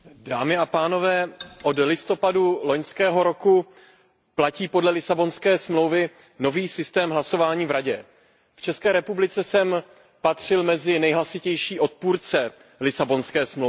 Pane předsedající, od listopadu loňského roku platí podle Lisabonské smlouvy nový systém hlasování v Radě. V České republice jsem patřil mezi nejhlasitější odpůrce Lisabonské smlouvy.